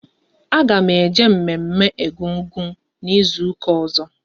A ga m eje mme mme Egungun n'izuka ọzọ